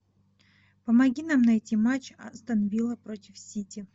помоги нам найти матч астон вилла против сити